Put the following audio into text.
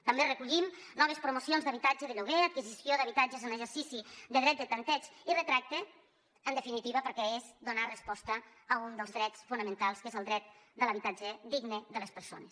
també recollim noves promocions d’habitatge de lloguer d’adquisició d’habitatges en l’exercici del dret de tanteig i retracte en definitiva perquè és donar resposta a un dels drets fonamentals que és el dret de l’habitatge digne de les persones